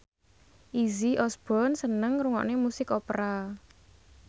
Izzy Osborne seneng ngrungokne musik opera